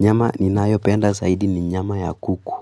Nyama ninayopenda zaidi ni nyama ya kuku.